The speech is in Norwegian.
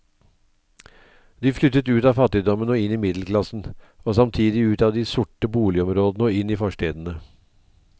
De flyttet ut av fattigdommen og inn i middelklassen, og samtidig ut av de sorte boligområdene og inn i forstedene.